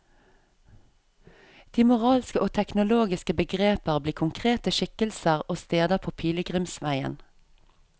De moralske og teologiske begreper blir konkrete skikkelser og steder på pilegrimsveien.